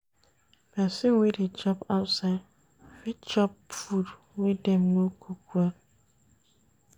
Pesin wey dey chop outside fit chop food wey dem no cook well.